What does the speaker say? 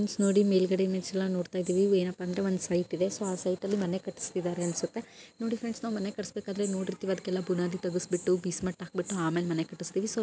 friends ನೋಡಿ ಮೇಲ್ಗಡೇ image ಅಲ್ಲಿ ನೋಡ್ತಾ ಇದ್ದೇವೆ ಏನಪ್ಪಾ ಅಂದ್ರೆ ಒಂದು ಸೈಟ್ ಇದೆ ಸೊ ಆ ಸೈಟ್ ಅಲ್ಲಿ ಮನೆ ಕಟ್ಟಸ್ತಿದ್ದಾರೆ ಅನ್ಸುತ್ತೆ ನೋಡಿ ಫ್ರೆಂಡ್ಸ್ ನಾವ್ ಮನೆ ಕಟ್ಟಿಸಬೇಕಾದ್ರೆ ನೋಡಿರ್ತೀವಿ ಅದ್ಕ್ಕೆಲ್ಲ ಬುನಾದಿ ತೇಗ್ಸ್ ಬಿಟ್ಟು ಬೇಸ್ಮೆಂಟ್ ಹಾಕಿಸಬಿಟ್ಟು ಆಮೇಲೆ ಮನೆ ಕಟ್ಟಿಸ್ತೀವಿ---